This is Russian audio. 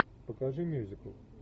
покажи мюзикл